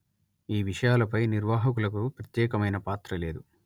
ఈ విషయాలపై నిర్వాహకులకు ప్రత్యేకమైన పాత్ర లేదు